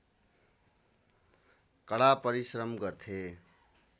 कडा परिश्रम गर्थे